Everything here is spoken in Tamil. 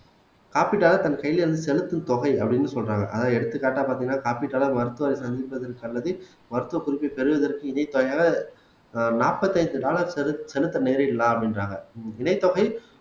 காப்பிட்டால தன் கையில் இருந்து செலுத்தும் தொகை அப்படீன்னு சொல்றாங்க அதாவது எடுத்துக்காட்டா பாத்தீங்கன்னா காப்பிட்டால மருத்துவரை சந்திப்பதற்கு நல்லது மருத்துவ குறிப்பை பெறுவதற்கு இதே ஆஹ் நாற்பத்தி ஐந்து டாலர் செலுத் செலுத்த நேரிடலாம் அப்படின்றாங்க இணை தொகை